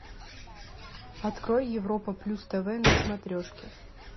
открой европа плюс тв на смотрешке